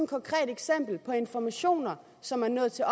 konkret eksempel på informationer som er nået til